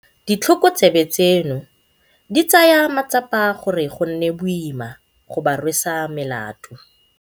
Ditlhokotsebe tseno di tsaya matsapa gore go nne boima go ba rwesa melato.